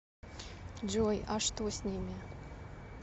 джой а что с ними